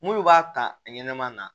Mun b'a ta a ɲɛnɛma na